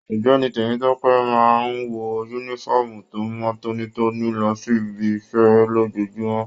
Ọ̀gbẹ́ni Temitope máa n wọ yúnífọ̀ọ́mù to mọ tónítóní lọ sí ìbi iṣẹ lójoojúmọ́.